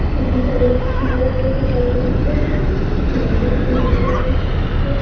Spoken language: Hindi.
यहाँ पे एक बहुत घर दिखाई दे रहा है ये छत बहुत उँचा दिख रहा है।